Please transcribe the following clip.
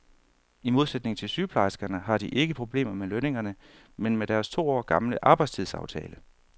I modsætning til sygeplejerskerne har de ikke problemer med lønningerne, men med deres to år gamle arbejdstidsaftale.